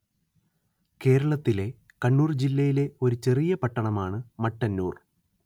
കേരളത്തിലെ കണ്ണൂര്‍ ജില്ലയിലെ ഒരു ചെറിയ പട്ടണമാണ് മട്ടന്നൂര്‍